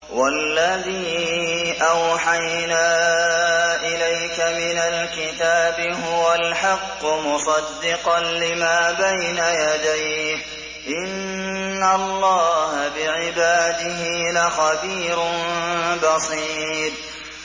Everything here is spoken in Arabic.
وَالَّذِي أَوْحَيْنَا إِلَيْكَ مِنَ الْكِتَابِ هُوَ الْحَقُّ مُصَدِّقًا لِّمَا بَيْنَ يَدَيْهِ ۗ إِنَّ اللَّهَ بِعِبَادِهِ لَخَبِيرٌ بَصِيرٌ